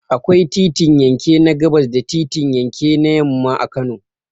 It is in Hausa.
Akwai titin yanke na gabas da titin yake na yamma a Kano.